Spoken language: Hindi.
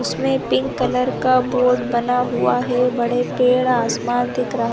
उसमें पिंक कलर का बोर्ड बना हुआ हैं बड़े पेड़ आसपास दिख रहा हैं।